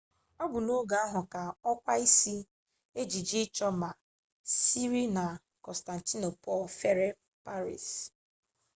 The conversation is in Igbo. ọ bụ n'oge ahụ ka okwa isi ejiji ịchọ ma siri na kọnstantinopul fere paris